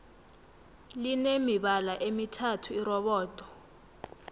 line mibala emithathu irobodo